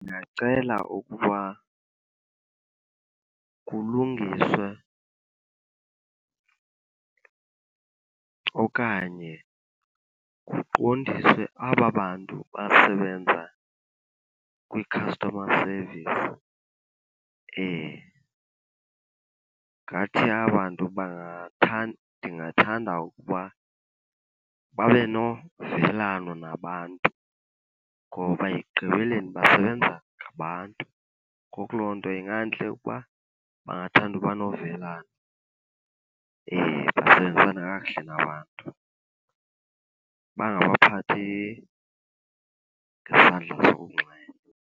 Ndingacela ukuba kulungiswe okanye kuqondiswe aba bantu basebenza kwi-customer service. Ngathi aba 'ntu ndingathanda ukuba babe novelano nabantu ngoba ekugqibeleni basebenza ngabantu. Ngoku loo nto ingantle ukuba bangathanda uba novelano basebenzisane kakuhle nabantu, bangaphakathi ngesandla sokunxele.